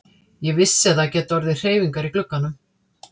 Ég vissi að það gætu orðið hreyfingar í glugganum.